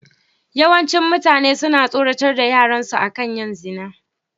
Yawancin mutane suna tsoratar da yaran su akan yin zina.